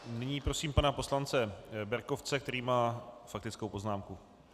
Nyní prosím pana poslance Berkovce, který má faktickou poznámku.